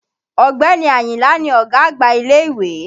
Ọ̀gbẹ́ni Àyìnlá ni ọ̀gá àgbà ilé-ìwé